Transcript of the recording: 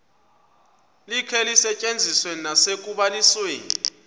likhe lisetyenziswe nasekubalisweni